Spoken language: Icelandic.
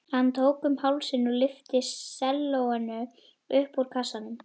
Hann tók um hálsinn og lyfti sellóinu upp úr kassanum.